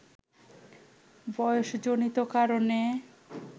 বয়সজনিত কারণে